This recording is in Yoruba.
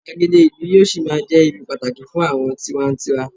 igbagede ìlú yíò sí ma je ibi pàtàkì fún àwọn tiwantiwa